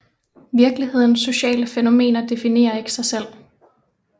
Virkelighedens sociale fænomener definerer ikke sig selv